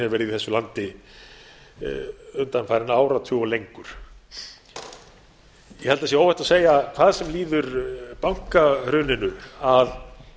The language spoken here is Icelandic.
hefur verið í þessu landi undanfarinn áratug og lengur ég held að það sé óhætt að segja hvað sem líður bankahruninu að